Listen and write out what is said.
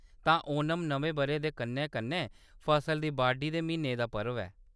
तां ओणम नमें बʼरे दे कन्नै-कन्नै फसला दी बाड्ढी दे म्हीने दा पर्व ऐ।